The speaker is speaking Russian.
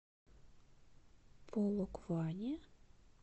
полокване